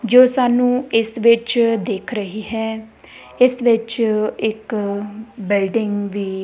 ਜੋ ਸਾਨੂੰ ਇਸ ਵਿੱਚ ਦਿਖ ਰਹੀ ਹੈ ਇਸ ਵਿੱਚ ਇੱਕ ਬਿਲਡਿੰਗ ਵੀ --